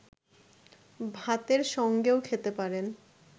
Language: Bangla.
ভাতের সঙ্গেও খেতে পারেন